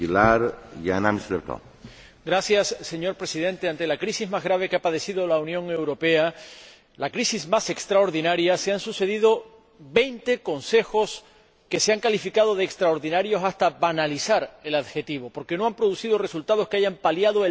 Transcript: Señor Presidente, con motivo de la crisis más grave que ha padecido la Unión Europea, la crisis más extraordinaria, se han sucedido veinte Consejos que se han calificado de extraordinarios hasta banalizar el adjetivo, porque no han producido resultados que hayan paliado el malestar, este sí, extraordinario.